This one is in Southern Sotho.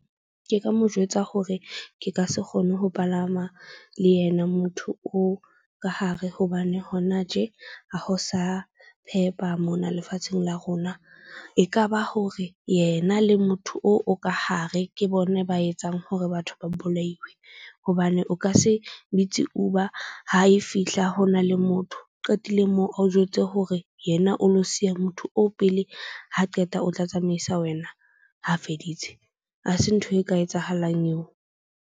Ke ka mo jwetsa hore ke ka se kgone ho palama le yena motho oo ka hare, hobane hona tje ha ho sa phepa mona lefatsheng la rona. Ekaba hore yena le motho oo o ka hare. Ke bona ba etsang hore batho ba bolaiwe, hobane o ka se bitse Uber ha e fihla ho na le motho. Qetile moo a o jwetse hore yena o lo siya motho o pele. Ha qeta o tla tsamaisa wena ha feditse ha se ntho e ka etsahalang eo.